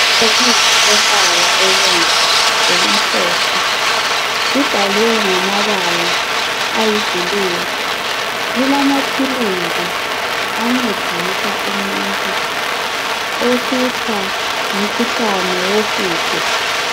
Ibhokisi lombala obomvu lokumhlophe, libhalwe ngamabala ayi blue, lilamaphilisi ancedisa umuntu ohlutshwa ngumkhuhlane wohudo.